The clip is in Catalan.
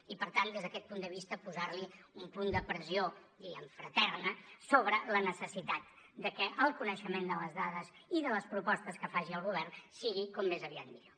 i per tant des d’aquest punt de vista posar li un punt de pressió diguem ne fraterna sobre la necessitat de que el coneixement de les dades i de les propostes que faci el govern sigui com més aviat millor